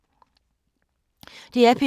DR P2